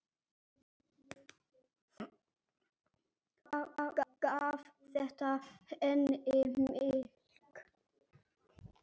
Gaf þetta henni mikið.